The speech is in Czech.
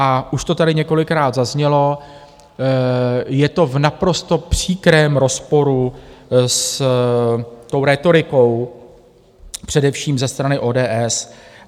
A už to tady několikrát zaznělo, je to v naprosto příkrém rozporu s tou rétorikou především ze strany ODS.